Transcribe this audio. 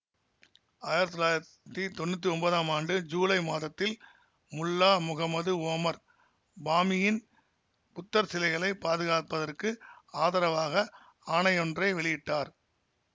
ஆயிரத்தி தொள்ளாயிரத்தி தொன்னூத்தி ஒன்பதாம் ஆண்டு ஜூலை மாதத்தில் முல்லா முகம்மது ஓமர் பாமியன் புத்தர் சிலைகளை பாதுகாப்பதற்கு ஆதரவாக ஆணையொன்றை வெளியிட்டார்